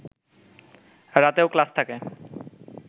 রাতেও ক্লাস থাকে